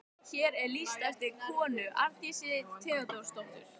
Hér er lýst eftir konu, Arndísi Theódórsdóttur.